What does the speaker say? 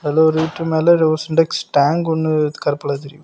அதுல ஒரு வீட்டு மேல ஏதோ சின்டெக்ஸ் டேங்க் ஒன்னு கருப்புல வச்சிருக்கு.